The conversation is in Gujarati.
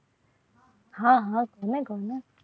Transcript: હા હા તમે ગમો